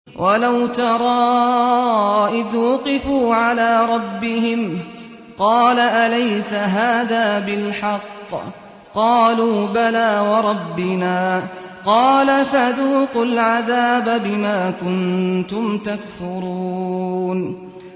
وَلَوْ تَرَىٰ إِذْ وُقِفُوا عَلَىٰ رَبِّهِمْ ۚ قَالَ أَلَيْسَ هَٰذَا بِالْحَقِّ ۚ قَالُوا بَلَىٰ وَرَبِّنَا ۚ قَالَ فَذُوقُوا الْعَذَابَ بِمَا كُنتُمْ تَكْفُرُونَ